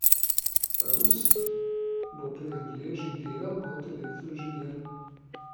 Rus bo pri Angležih delal kot elektroinženir.